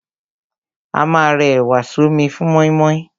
A ma rẹ ẹ̀wà sọ́mi fún mọ́ímọ́í.